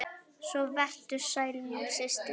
Svo vertu sæl, mín systir!